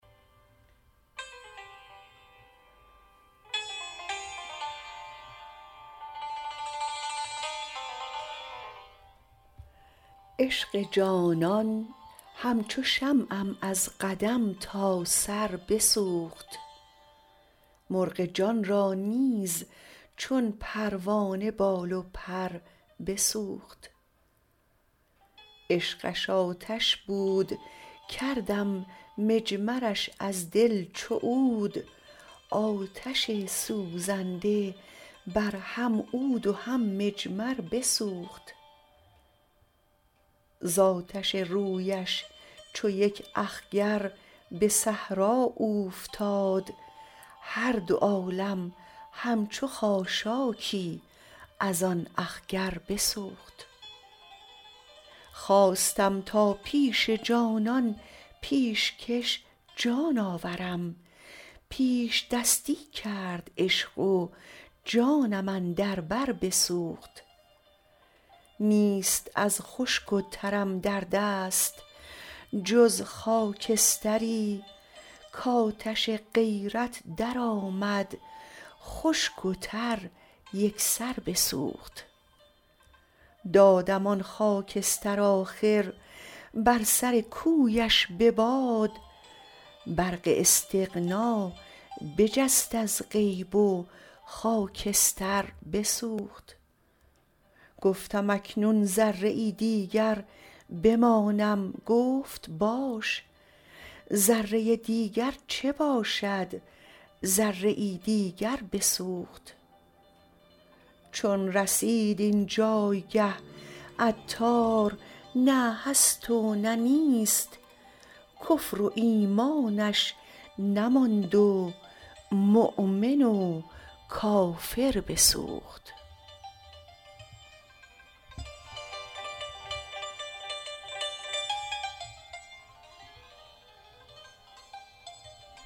عشق جانان همچو شمعم از قدم تا سر بسوخت مرغ جان را نیز چون پروانه بال و پر بسوخت عشقش آتش بود کردم مجمرش از دل چو عود آتش سوزنده بر هم عود و هم مجمر بسوخت زآتش رویش چو یک اخگر به صحرا اوفتاد هر دو عالم همچو خاشاکی از آن اخگر بسوخت خواستم تا پیش جانان پیشکش جان آورم پیش دستی کرد عشق و جانم اندر بر بسوخت نیست از خشک و ترم در دست جز خاکستری کاتش غیرت درآمد خشک و تر یکسر بسوخت دادم آن خاکستر آخر بر سر کویش به باد برق استغنا بجست از غیب و خاکستر بسوخت گفتم اکنون ذره ای دیگر بمانم گفت باش ذره دیگر چه باشد ذره ای دیگر بسوخت چون رسید این جایگه عطار نه هست و نه نیست کفر و ایمانش نماند و مؤمن و کافر بسوخت